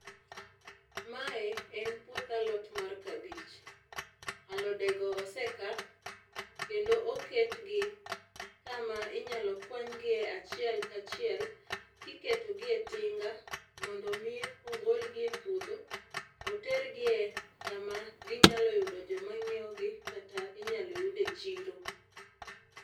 Mae en puoth alot mar kabich, alodego ose kaa kendo oketgi kama inyalo kwanygie achiel kachiel kiketogi e tinga mondo mii ogolgi epuodho, otergie kama ginyalo yudo joma nyiewogi kata inyalo yude chiro.